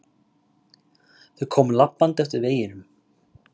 Þau komu labbandi eftir veginum.